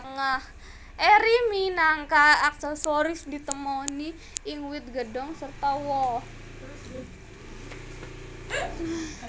Eri minangka aksesori ditemoni ing wit godhong sarta woh